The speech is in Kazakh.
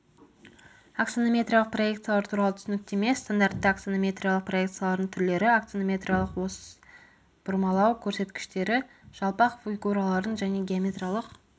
аксонометриялық проекциялар туралы түсініктеме стандартты аксонометриялық проекциялардың түрлері аксонометриялық ось бұрмалау көрсеткіштері жалпақ фигуралардың және геометриялық